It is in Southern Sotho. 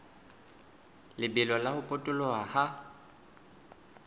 lebelo la ho potoloha ha